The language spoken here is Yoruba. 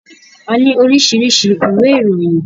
A ni oríṣiríṣi iwe ìròyìn.